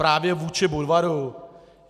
Právě vůči Budvaru?